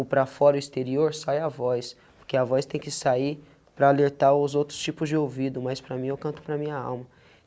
O para fora o exterior sai a voz, porque a voz tem que sair para alertar os outros tipos de ouvido, mas para mim eu canto para minha alma.